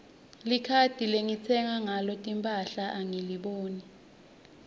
likhadi lengitsenga ngalo timphahla angiliboni